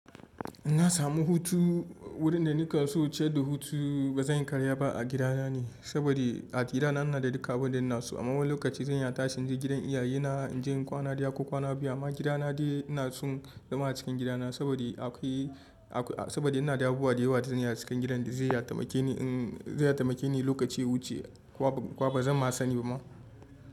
Inna samu hutu wurin da nake so inje da hutu ba zan yi karya ba a gidana ne. Saboda a gidana ina da duka abin da naso. A wani lokaci zan iya tashin je gidan iyaye na in je in kwana ɗaya ko kwana biyu amma gidana dai ina son zama a cikin gidana saboda yana da abubuwa da yawa da zan iya cikin gidan da zai taimake ni in zai taimake ni lokacin wucewa. Kwa ba zan ma sani ba ma.